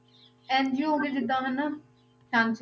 NGO ਹੋ ਗਏ ਜਿੱਦਾਂ ਹਨਾ, ਹਾਂਜੀ